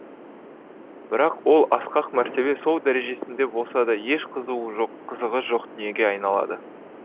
бірақ ол асқақ мәртебе сол дәрежесінде болса да еш қызуы жоқ қызығы жоқ дүниеге айналады